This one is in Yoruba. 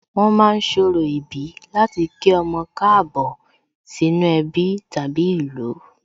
Wón ma ń ṣorò ìbí láti kí ọmọ Káàbọ̀ sínú ẹbí tàbí ìlú